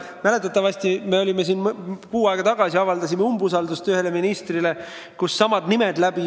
Mäletatavasti me avaldasime siin kuu aega tagasi umbusaldust ühele ministrile ja siis jooksid samad nimed läbi.